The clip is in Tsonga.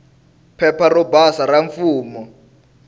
phepha ro basa ra mfumo